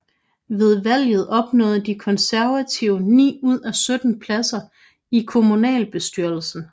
Ved valget opnåede De Konservative ni ud af 17 pladser i kommunalbestyrelsen